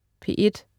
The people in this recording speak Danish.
P1: